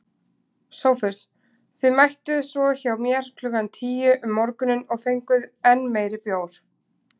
SOPHUS: Og mættuð svo hjá mér klukkan tíu um morguninn og fenguð enn meiri bjór.